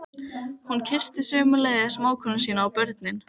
hrópar Margrét sem horfir á aðfarirnar af hlaðinu.